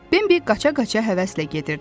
Bimbi qaça-qaça həvəslə gedirdi.